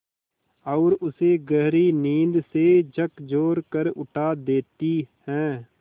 और उसे गहरी नींद से झकझोर कर उठा देती हैं